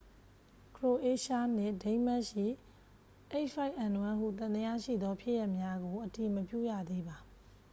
ခရိုအေးရှားနှင့် ဒိန်းမတ်ရှိ h၅n၁ ဟုသံသယရှိသောဖြစ်ရပ်များကို အတည်မပြုရသေးပါ။